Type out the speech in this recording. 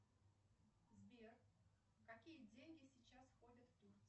сбер какие деньги сейчас ходят в турции